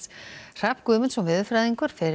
Hrafn Guðmundsson veðurfræðingur fer